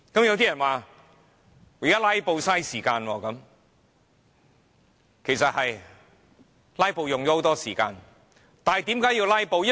有些人說"拉布"花時間，其實"拉布"真的很花時間，但為何要"拉布"呢？